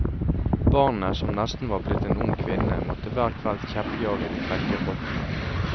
Barnet som nesten var blitt en ung kvinne, måtte hver kveld kjeppjage de frekke rottene.